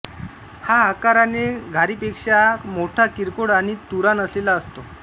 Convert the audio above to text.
हा आकाराने घारीपेक्षा मोठाकिरकोळ आणि तुरा नसलेला असतो